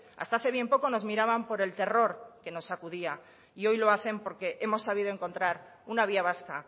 hasta hace bien poco nos miraban por el terror que nos sacudía y hoy lo hacen porque hemos sabido encontrar una vía vasca